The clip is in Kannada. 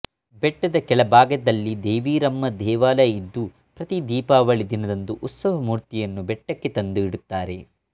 ಬೆಟ್ಟದ ಕೆಳಭಾಗದಲ್ಲಿ ದೇವಿರಮ್ಮ ದೇವಾಲಯ ಇದ್ದು ಪ್ರತಿ ದೀಪಾವಳಿ ದಿನದಂದು ಉತ್ಸವ ಮೂರ್ತಿಯನ್ನು ಬೆಟ್ಟಕ್ಕೆ ತಂದು ಇಡುತ್ತಾರೆ